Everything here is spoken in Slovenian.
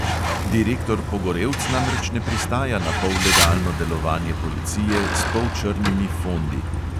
Direktor pogorevc namreč ne pristaja na pollegalno delovanje policije s polčrnimi fondi ...